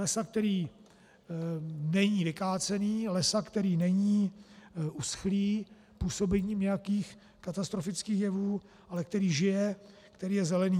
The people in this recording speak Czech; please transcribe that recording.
Lesa, který není vykácený, lesa, který není uschlý působením nějakých katastrofických jevů, ale který žije, který je zelený.